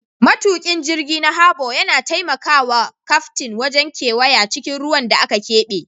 Matukin jirgi na Harbor yana taimaka wa kaftin wajen kewaya cikin ruwan da aka keɓe.